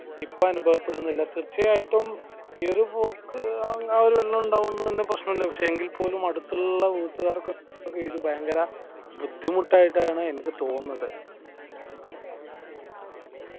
ഇപ്പൊ അനുഭവപ്പെടുന്നില്ല തീർച്ചയായിട്ടും ഈ ഒരു പോക്ക് ആ ഒരു ഇണ്ടായത് കൊണ്ട് തന്നെ പ്രശനം ഇല്ല എങ്കിൽ പോലും അടുത്തുള്ള വീട്ടുകാർക്കൊക്കെ ഇത് ഭയങ്കര ബുദ്ധിമുട്ട് ആയിട്ടാണ്‌ എനിക്കു തോന്നുന്നത്